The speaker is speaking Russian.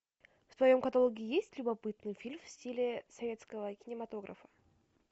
в твоем каталоге есть любопытный фильм в стиле советского кинематографа